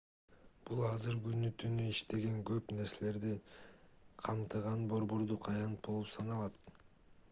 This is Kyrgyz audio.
бул азыр күнү-түнү иштеген көп нерселерди камтыган борбордук аянт болуп саналат